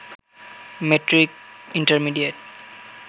matric intermediate